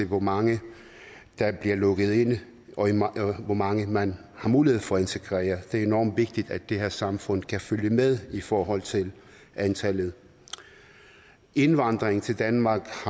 hvor mange der bliver lukket ind og hvor mange man har mulighed for at integrere det er enormt vigtigt at det her samfund kan følge med i forhold til antallet indvandringen til danmark